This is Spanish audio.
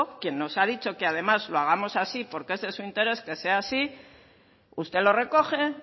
quien nos ha dicho que además lo hagamos así porque ese es su interés que sea así usted lo recoge